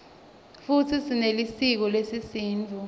futsi sinelisiko lesisutfu